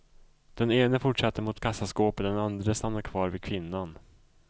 Den ene fortsatte mot kassaskåpet, den andre stannade kvar vid kvinnan.